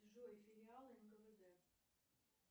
джой сериал нквд